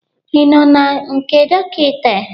Ị nọ na nke dọkịta?